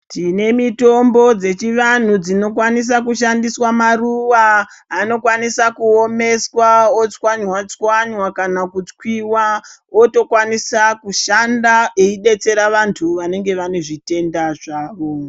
Tine mitombo dzechi vanhu dzino kwanisa kushandiswa maruwa anokwanisa ku omeswa otswanywa tswanywa kana ku chwiwa woto kwanisa kushanda eyi detsera vantu vanenge vane zvitenda zvavo.